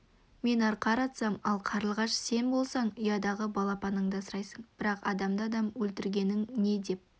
мен арқар атсам ал қарлығаш сен болсаң ұядағы балапаныңды асырайсың бірақ адамды адам өлтіргенің не деп